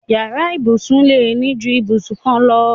Yàrá ìbùsùn lè ní ju ìbùsùn kan lọ.